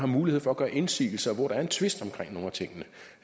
mulighed for at gøre indsigelse hvor der er en tvist om nogle af tingene